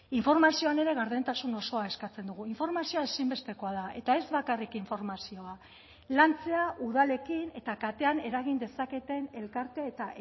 informazioan ere gardentasun osoa eskatzen dugu informazioa ezinbestekoa da eta ez bakarrik informazioa lantzea udalekin eta katean eragin dezaketen elkarte eta